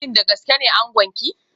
Shin da gaske ne angonki